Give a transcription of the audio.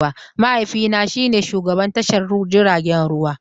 Mahaifina shine shugaban tashar jiragen ruwa